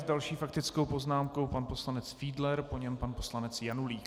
S další faktickou poznámkou pan poslanec Fiedler, po něm pan poslanec Janulík.